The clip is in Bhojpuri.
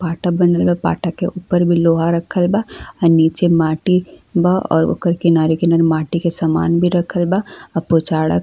पाटा बनल बा। पाटा के ऊपर भी लोहा रखल बा। हई नीचे माटी ब और ओकर किनारे-किनारे माटी के समान भी रखल बा। आ पोचाड़ा --